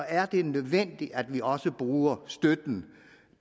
er det nødvendigt at vi også bruger støtten